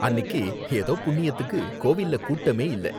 அன்னிக்கு ஏதோ புண்ணியத்துக்கு கோவில்ல கூட்டமே இல்ல